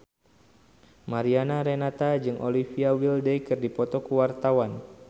Mariana Renata jeung Olivia Wilde keur dipoto ku wartawan